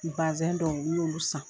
Basɛn dɔw, n'olu san.